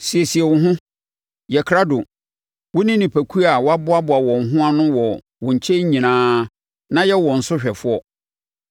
“ ‘Siesie wo ho, yɛ krado, wo ne nipakuo a wɔaboaboa wɔn ho ano wɔ wo nkyɛn nyinaa na yɛ wɔn so hwɛfoɔ.